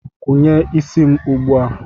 Kwanye isi m ugbu a!